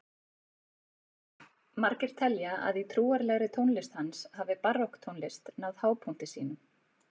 Margir telja að í trúarlegri tónlist hans hafi barokktónlist náð hápunkti sínum.